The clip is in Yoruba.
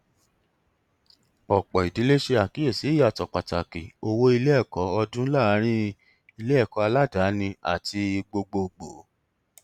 ọpọ ìdílé ṣe àkíyèsí ìyàtọ pàtàkì owó iléẹkọ ọdún láàárín iléẹkọ aládàání àti gbogbogbò